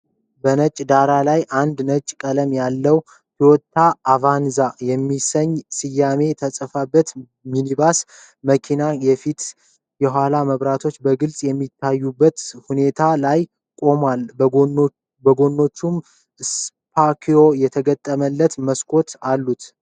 በነጭ ዳራ ላይ፣ አንድ ነጭ ቀለም ያለው "ቶዮታ አቫንዛ" የሚል ስያሜ የተጻፈበት ሚኒባስ መኪና፣ የፊትና የኋላ መብራቶቹ በግልጽ በሚታዩበት ሁኔታ ላይ ቆሞ፣ በጎኖቹም ስፖኪዮ የተገጠመላቸው መስኮቶች አሉት።